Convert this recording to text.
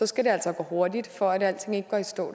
skal det altså gå hurtigt for at alting ikke går i stå